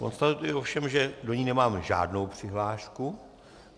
Konstatuji ovšem, že do ní nemám žádnou přihlášku.